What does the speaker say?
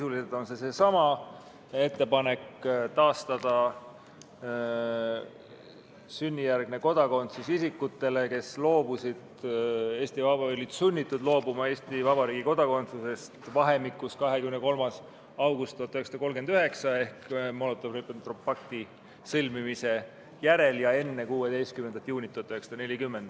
Sisuliselt on see seesama ettepanek: taastada sünnijärgne kodakondsus isikutel, kes olid sunnitud loobuma Eesti Vabariigi kodakondsusest vahemikus 23. august 1939, kui sõlmiti Molotovi-Ribbentropi pakt, kuni 16. juuni 1940.